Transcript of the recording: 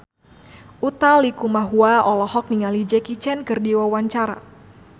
Utha Likumahua olohok ningali Jackie Chan keur diwawancara